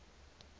le hore ho tle ho